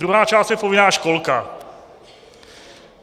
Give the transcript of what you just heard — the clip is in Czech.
Druhá část je povinná školka.